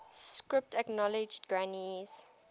script acknowledged granny's